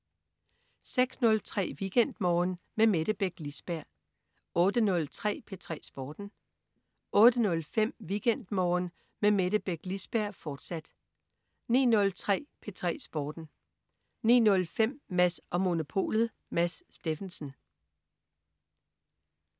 06.03 WeekendMorgen med Mette Beck Lisberg 08.03 P3 Sporten 08.05 WeekendMorgen med Mette Beck Lisberg, fortsat 09.03 P3 Sporten 09.05 Mads & Monopolet. Mads Steffensen